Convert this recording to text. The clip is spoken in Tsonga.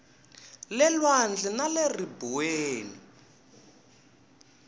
le lwandle na le ribuweni